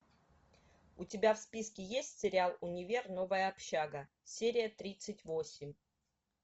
у тебя в списке есть сериал универ новая общага серия тридцать восемь